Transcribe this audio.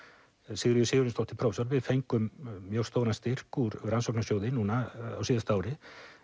Sigríður Sigurjónsdóttir prófessor fengum mjög stóran styrk úr rannsóknarsjóði núna á síðasta ári